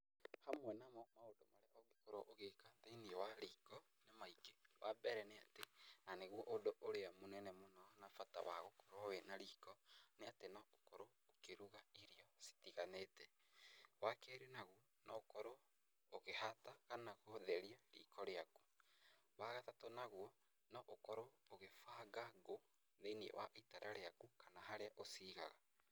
Hamwe na mo maũndũ marĩa ũngĩkorwo ũgĩka thĩinĩ wa riko nĩ maingĩ. Wa mbere nĩ atĩ, na nĩguo ũndũ ũrĩa mũnene mũno na bata wa gũkorwo wĩna riko, nĩ atĩ no ũkorwo ũkĩruga irio citiganĩte. Wa keerĩ naguo no ũkorwo ũkĩhata kana gũtheria riko rĩaku. Wa gatatũ naguo, no ũkorwo ũgĩbanga ngũ thĩinĩ wa itara rĩaku, kana harĩa ũcigaga.